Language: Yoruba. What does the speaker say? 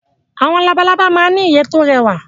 Awọn labalábá ma ń n'ìyẹ́ tó rẹwà